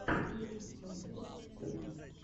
гейммэйкерс тиви